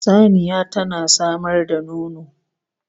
Saniya tana samar da nono